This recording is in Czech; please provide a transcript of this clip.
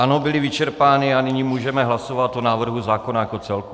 Ano, byly vyčerpány a nyní můžeme hlasovat o návrhu zákona jako celku.